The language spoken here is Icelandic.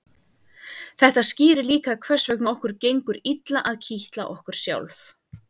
þetta skýrir líka hvers vegna okkur gengur illa að kitla okkur sjálf